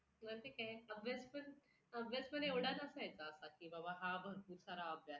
किंवा ते पण अभ्यास पण, अभ्यास पण एवढा नसायचा कि हा बाबा भरपूर सारा अभ्यास आहे.